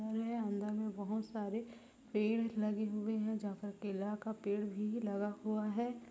-- अंदर में बहोत सारे पेड़ लगे हुए है जहाँ पर केला का पेड़ भी लगा हुआ है।